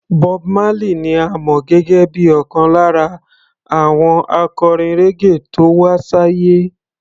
Bob Marley ni a mọ̀ gẹ́gẹ́ bíi ọ̀kan lára àwọn akọrin raggae tó wá sáyé.